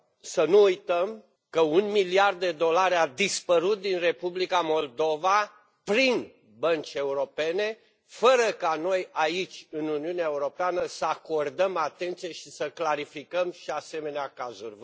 Să nu uităm că un miliard de dolari a dispărut din Republica Moldova prin bănci europene, fără ca noi, aici, în Uniunea Europeană, să acordăm atenție și să clarificăm și asemenea cazuri.